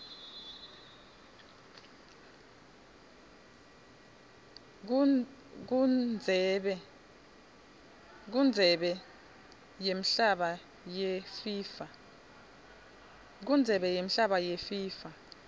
kundzebe yemhlaba yefifa